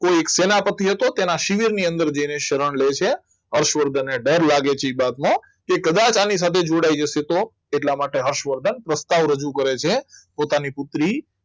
કોઈ એક સેનાપતિ હતો તેના શરીરની શિબિર ની અંદર જઈને શરણ લે છે હર્ષવર્ધનને ડર લાગે છે એ વાતનો કે કદાચ આની સાથે જોડાઈ જશે તો એટલા માટે હર્ષવર્ધન પ્રસ્તાવ રજૂ કરે છે પોતાની પુત્રી